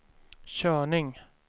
körning